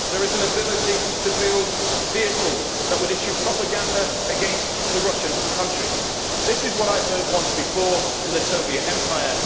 There is an ability to build vehicles that would issue propaganda against the Russian countries. This is what I heard once before in the Soviet empire.